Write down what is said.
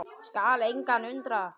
Skal engan undra.